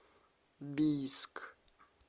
бийск